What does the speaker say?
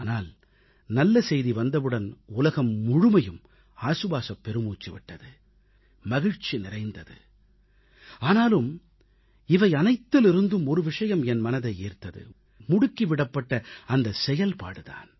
ஆனால் நல்லசெய்தி வந்தவுடன் உலகம் முழுமையும் ஆசுவாசப் பெருமூச்சு விட்டது மகிழ்ச்சி நிறைந்தது ஆனாலும் இவையனைத்திலிருந்தும் ஒரு விஷயம் என் மனதை ஈர்த்தது முடுக்கி விடப்பட்ட அந்த செயல்பாடு தான்